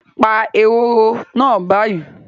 Pa ehoro náà báyìí